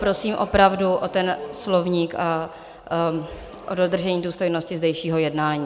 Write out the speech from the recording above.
Prosím opravdu o ten slovník a o dodržení důstojnosti zdejšího jednání.